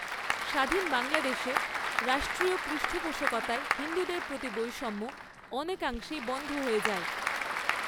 স্বাধীন বাংলাদেশে রাষ্ট্রীয় পৃষ্ঠপোষকতায় হিন্দুদের প্রতি বৈষম্য অনেকাংশেই বন্ধ হয়ে যায়।